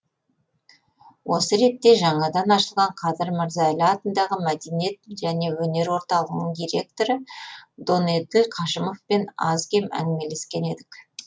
осы ретте жаңадан ашылған қадыр мырза әлі атындағы мәдениет және өнер орталығының директоры донеділ қажымовпен аз кем әңгімелескен едік